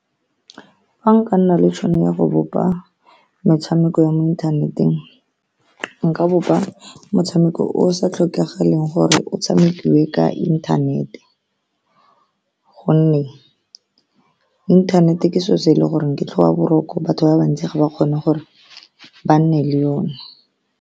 Fa nka nna le tšhono ya go bopa metshameko ya mo inthaneteng, nka bopa motshameko o o sa tlhokagaleng gore o tshamekiwe ka inthanete, ka gonne inthanete ke selo se e le gore ke tlhoba boroko, batho ba bantsi ga ba kgone gore ba nne le yone.